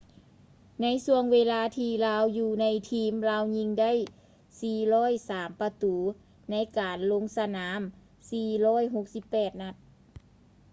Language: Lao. ໃນຊ່ວງເວລາທີ່ລາວຢູ່ໃນທີມ ລາວຍິງໄດ້ 403 ປະຕູ ໃນການລົງສະໜາມ 468 ນັດ